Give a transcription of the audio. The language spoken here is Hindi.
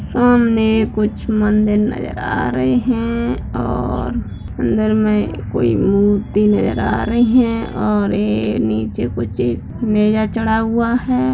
सामने कुछ मंदिर नज़र आ रहे हैं और अंदर में कोई मूर्ति नज़र आ रही है और ये नीचे कुछ चढ़ा हुआ है।